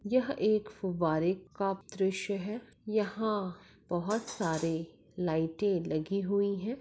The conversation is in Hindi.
यह एक फुवारे का दृश है यहा बहुत सारे लाइटे लगी हुए है।